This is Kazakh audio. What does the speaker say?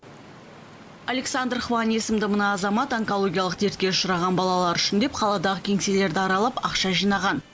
александр хван есімді мына азамат онкологиялық дертке ұшыраған балалар үшін деп қаладағы кеңселерді аралап ақша жинаған